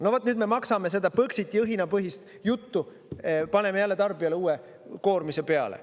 No vaat nüüd me maksame põxiti õhinapõhist juttu, paneme jälle tarbijale uue koormise peale.